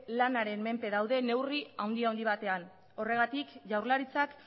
lanaren menpe daude neurri handi handi batean horregatik jaurlaritzak